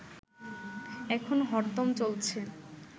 এখন হরদম চলছে